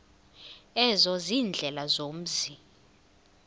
ezo ziindlela zomzi